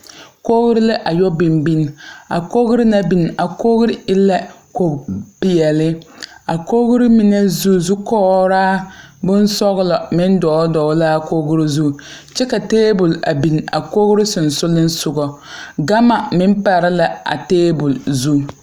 Kogre la yɔ biŋ biŋ a kogre na biŋ a kogre poore e la koge peɛɛli a kogre mine zu zukograa bonsɔglɔ meŋ dɔɔle dɔɔle laa kogro zu kyɛ ka tabol a bin a kogro sensugliŋsugɔ gama meŋ pare la a tabol zu.